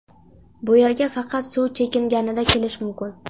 Bu yerga faqat suv chekinganida kelish mumkin.